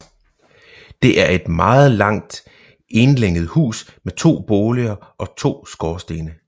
Det er et meget langt enlænget hus med to boliger og to skorstene